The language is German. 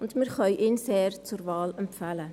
Wir können ihn sehr zur Wahl empfehlen.